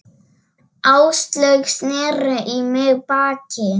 Áslaug sneri í mig baki.